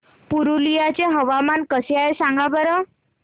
पुरुलिया चे हवामान कसे आहे सांगा बरं